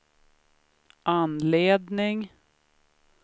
anledning